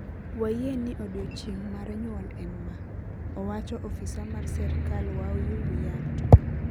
wayie ni odiochineg mar nyuol en ma," owacho ofisa mar serikal Wahyu Wiyanto